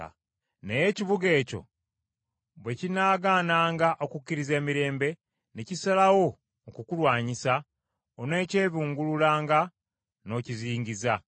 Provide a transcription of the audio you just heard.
Naye ekibuga ekyo bwe kinaagaananga okukkiriza emirembe, ne kisalawo okukulwanyisa, onookyebungululanga n’okizingiza.